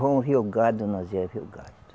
Vamos ver o gado, nós ia ver o gado.